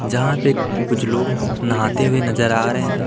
जहां पे कुछ लोग नहाते हुए नजर आ रहे हैं।